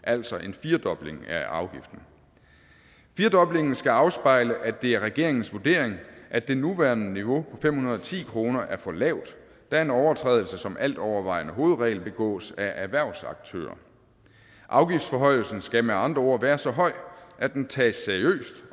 altså en firedobling af afgiften firedoblingen skal afspejle at det er regeringens vurdering at det nuværende niveau fem hundrede og ti kroner er for lavt da en overtrædelse som altovervejende hovedregel begås af erhvervsaktører afgiftsforhøjelsen skal med andre ord være så høj at den tages seriøst